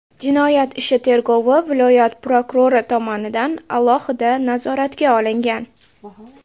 Jinoyat ishi tergovi viloyat prokurori tomonidan alohida nazoratga olingan.